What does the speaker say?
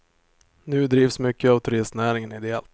Nu drivs mycket av turistnäringen ideellt.